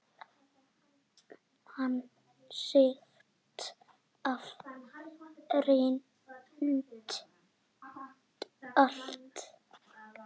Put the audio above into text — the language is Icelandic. Hann segist hafa reynt allt.